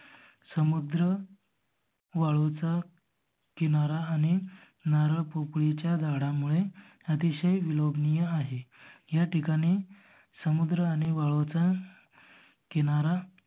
समुद्र वाळूचा किनारा आणि नारळ पोकळी च्या झाडामुळे अतिशय विलोभनीय आहे. ह्या ठिकाणी समुद्र आणि वाळूचा किनारा